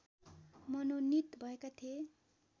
मनोनीत भएका थिए